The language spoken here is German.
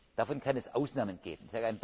Davon kann es Ausnahmen geben.